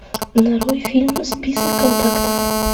нарой фильм список контактов